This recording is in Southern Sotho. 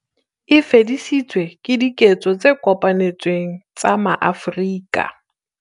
E fedisitswe ke diketso tse kopanetsweng tsa maAfrika